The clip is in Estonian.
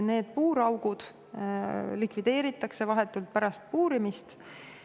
Need puuraugud likvideeritakse vahetult pärast puurimist.